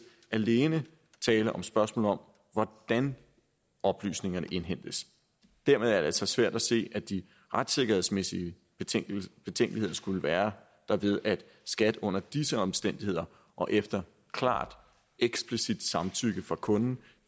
alene tale om spørgsmål om hvordan oplysningerne indhentes dermed er det altså svært at se at de retssikkerhedsmæssige betænkeligheder skulle være derved at skat under disse omstændigheder og efter klart eksplicit samtykke fra kunden